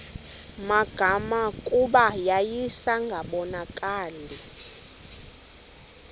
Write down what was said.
magama kuba yayingasabonakali